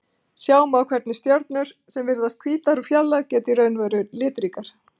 Sjá má hvernig stjörnur sem virðast hvítar úr fjarlægð geta í raun verið litríkar.